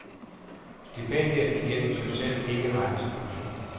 Stipendiet giver i sig selv ikke ret til pension.